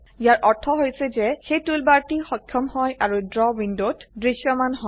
ইয়াৰ অৰ্থ হৈছে যে সেই টুলবাৰটি সক্ষম হয় আৰু ড্ৰ উইন্ডোতে দৃশ্যমান হয়